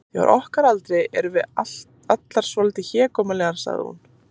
Því á okkar aldri erum við allar svolítið hégómlegar sagði hún.